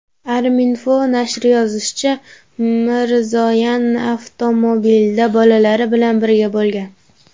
Arminfo nashri yozishicha , Mirzoyan avtomobilda bolalari bilan birga bo‘lgan.